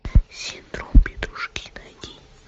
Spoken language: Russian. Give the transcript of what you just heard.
синдром петрушки найди